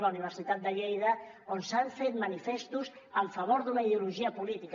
la universitat de lleida on s’han fet manifestos en favor d’una ideologia política